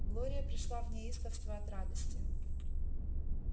глория пришла в неистовство от радости